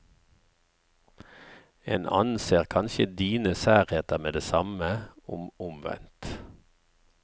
En annen ser kanskje dine særheter med det samme, om omvendt.